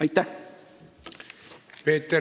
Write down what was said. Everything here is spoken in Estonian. Aitäh!